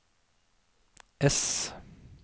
ess